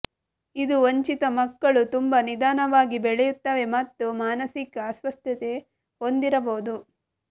ಇದು ವಂಚಿತ ಮಕ್ಕಳು ತುಂಬಾ ನಿಧಾನವಾಗಿ ಬೆಳೆಯುತ್ತವೆ ಮತ್ತು ಮಾನಸಿಕ ಅಸ್ವಸ್ಥತೆ ಹೊಂದಿರಬಹುದು